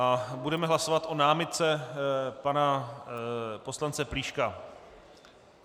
A budeme hlasovat o námitce pana poslance Plíška.